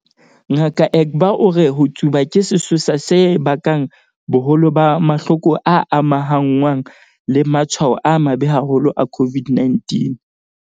Ngaka Egbe o re ho tsuba ke sesosa se bakang boholo ba mahloko a amahanngwang le matshwao a mabe haholo a COVID-19.